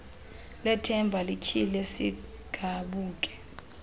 lethemba lityhile sigabuke